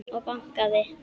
Og bankað.